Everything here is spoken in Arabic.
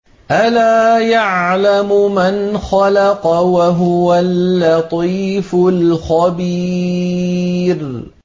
أَلَا يَعْلَمُ مَنْ خَلَقَ وَهُوَ اللَّطِيفُ الْخَبِيرُ